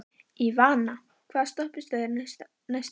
Ívana, hvaða stoppistöð er næst mér?